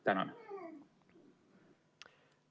Tänan!